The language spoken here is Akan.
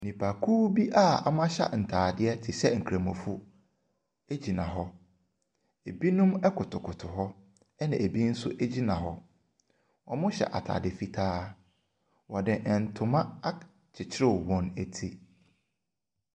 Nnipakuw bi a wɔahyɛ ntaadeɛ te sɛ nkramofo gyina hɔ. Ebinom koto koto hɔ na ebinom nso gyina hɔ. Wɔn nyinaa hyɛ ataade fitaa. Wɔde ntoma akyekyere wɔn ti.